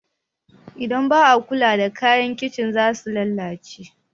Idan ba a kula da kayan amfanin kicin za su lalace.